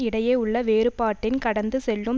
இடையே உள்ள வேறுபாட்டின் கடந்து செல்லும்